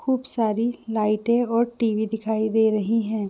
खुब सारी लाइटे और टीबी दिखाई दे रही है।